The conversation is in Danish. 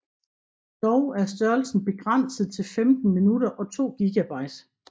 Dog er størrelsen begrænset til 15 minutter og 2 GB